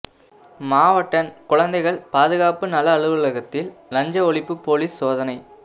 மாவட்டக் குழந்தைகள் பாதுகாப்பு நல அலுவலகத்தில் லஞ்ச ஒழிப்பு போலீஸ் சோதனை